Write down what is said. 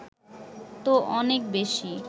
তো অনেক বেশি